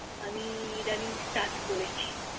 আমি ইদানিং Start করেছি